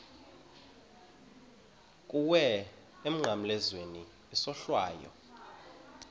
kuwe emnqamlezweni isohlwayo